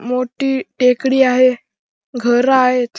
मोठी टेकडी आहे घर आहेत.